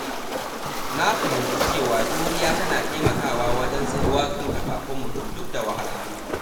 Na fahimci cewa juriya tana taimakawa wajen tsayuwa kan kafafun mutum duk da wahalhalu.